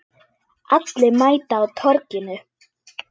Allir mæta á Torginu